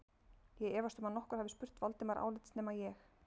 Ég efast um að nokkur hafi spurt Valdimar álits nema ég